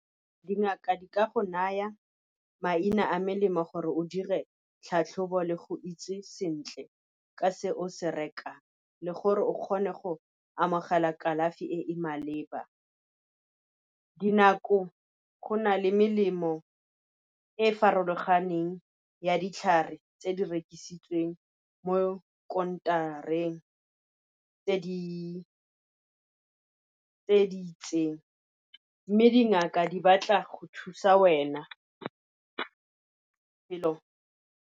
Dingaka di ka go naya maina a melemo gore o dire tlhatlhobo le go itse sentle ka se o se reka, le gore o kgone go amogela kalafi e e maleba. Dinako go na le melemo e e farologaneng ya ditlhare tse di rekisitsweng mo counter-reng tse di itseng, mme dingaka di batla go thusa wena.